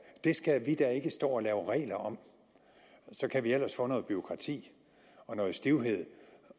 det skal vi da ikke stå og lave regler om så kan vi ellers få noget bureaukrati og noget stivhed